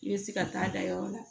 I bɛ se ka taa da yɔrɔ la